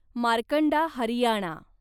Markanda Haryana